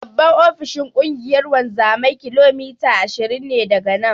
Babban ofishin Ƙungiyar wanzamai kilomita ashirin ne daga nan.